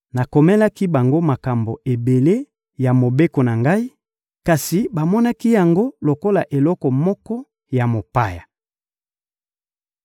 Nakomelaki bango makambo ebele ya Mobeko na Ngai, kasi bamonaki yango lokola eloko moko ya mopaya.